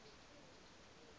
a šetše a le mo